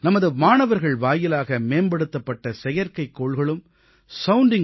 நமது மாணவர்கள் வாயிலாக மேம்படுத்தப்பட்ட செயற்கைக்கோள்களும் சவுண்டிங்